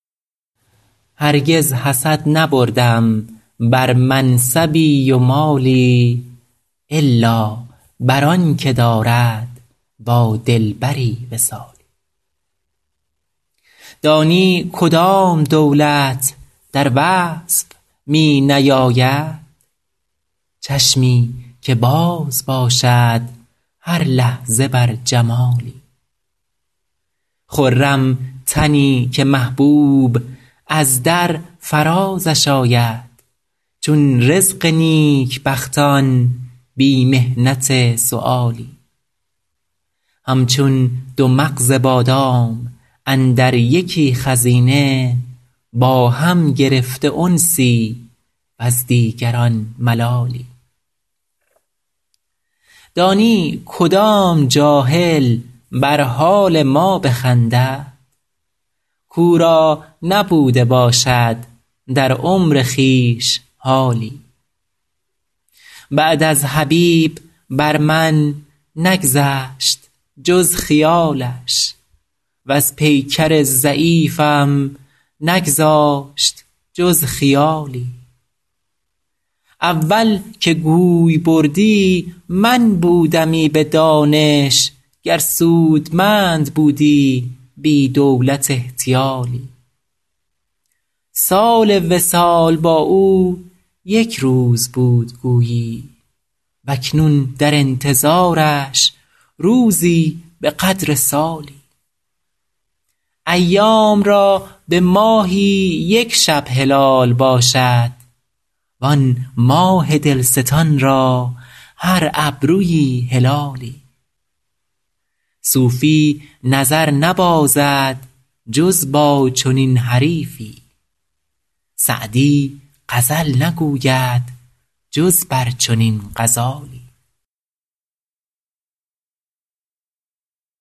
هرگز حسد نبردم بر منصبی و مالی الا بر آن که دارد با دلبری وصالی دانی کدام دولت در وصف می نیاید چشمی که باز باشد هر لحظه بر جمالی خرم تنی که محبوب از در فرازش آید چون رزق نیکبختان بی محنت سؤالی همچون دو مغز بادام اندر یکی خزینه با هم گرفته انسی وز دیگران ملالی دانی کدام جاهل بر حال ما بخندد کاو را نبوده باشد در عمر خویش حالی بعد از حبیب بر من نگذشت جز خیالش وز پیکر ضعیفم نگذاشت جز خیالی اول که گوی بردی من بودمی به دانش گر سودمند بودی بی دولت احتیالی سال وصال با او یک روز بود گویی و اکنون در انتظارش روزی به قدر سالی ایام را به ماهی یک شب هلال باشد وآن ماه دلستان را هر ابرویی هلالی صوفی نظر نبازد جز با چنین حریفی سعدی غزل نگوید جز بر چنین غزالی